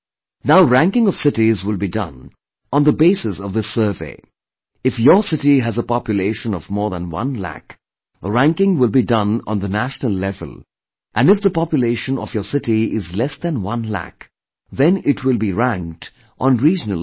Now ranking of cities will be done on the basis of this survey if your city has a population of more than one lakh, ranking will be done on the national level and if the population of your city is less than one lakh than it will be ranked on regional level